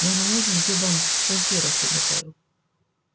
я на ужин две банки консервов приготовил